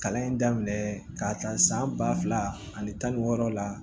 Kalan in daminɛ k'a ta san ba fila ani tan ni wɔɔrɔ la